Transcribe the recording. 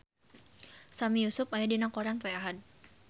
Sami Yusuf aya dina koran poe Ahad